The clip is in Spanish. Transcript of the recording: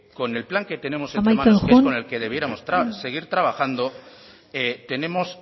con el plan que tenemos entre manos amaitzen joan con el debiéramos seguir trabajando tenemos